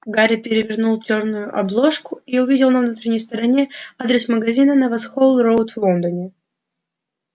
гарри перевернул чёрную обложку и увидел на внутренней стороне адрес магазина на воксхолл-роуд в лондоне